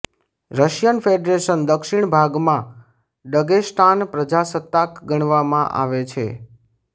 Russian federation દક્ષિણ ભાગમાં Dagestan પ્રજાસત્તાક ગણવામાં આવે છે